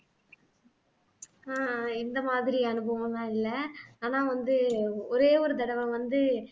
ஆஹ் இந்த மாதிரி அனுபவம்லாம் இல்லை ஆனா வந்து ஒரே ஒரு தடவை வந்து